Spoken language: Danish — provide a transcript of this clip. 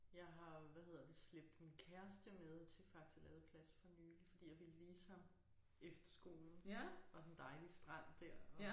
Jeg har hvad hedder det slæbt min kæreste med til Faxe Ladeplads for nylig fordi jeg ville vise ham efterskolen og den dejlige strand dér og